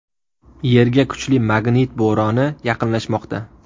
Yerga kuchli magnit bo‘roni yaqinlashmoqda.